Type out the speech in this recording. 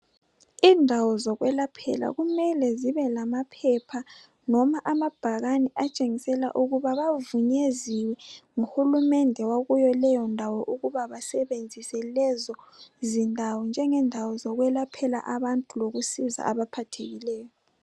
Indawo zokwelaphela kumele zibe lamaphepha noma amabhakane atshengisela ukuba bavunyeziwe nguhulumende wakuleyondawo ukuba basebenzisa lezozindawo njengendawo zokwelaphela abantu lokusiza abaphathekileyo.